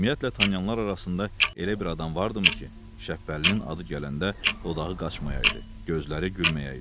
Ümumiyyətlə tanıyanlar arasında elə bir adam vardımı ki, Şəpbəlinin adı gələndə dodağı qaçmayaydı, gözləri gülməyəydi.